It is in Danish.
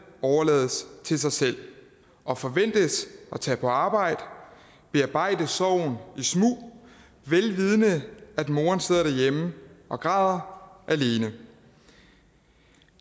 overlades til sig selv og forventes at tage på arbejde og bearbejde sorgen i smug vel vidende at moren sidder derhjemme og græder alene